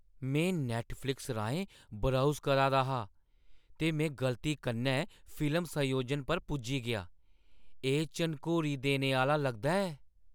मैं नैट्टफ़्लिक्स राहें ब्राउज़ करा दा हा, ते मैं गलती कन्नै फिल्म संयोजन पर पुज्जी गेआ। एह् झनकोरी देने आह्‌ली लगदा ऐ!